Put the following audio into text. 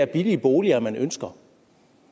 billige boliger man ønsker